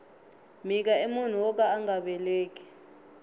mhika i munhu woka anga veleki